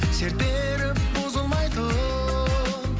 серт беріп бұзылмайтын